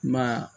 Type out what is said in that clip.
Ma